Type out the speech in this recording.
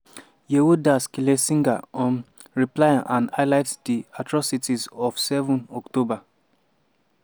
yehuda schlesinger um reply and highlight di atrocities of 7 october.